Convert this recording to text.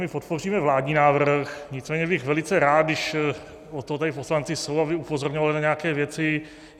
My podpoříme vládní návrh, nicméně bych velice rád, když od toho tady poslanci jsou, aby upozorňovali na nějaké věci.